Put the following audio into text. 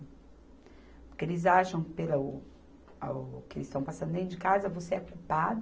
Porque eles acham pelo ao, ao que eles estão passando dentro de casa, você é culpado.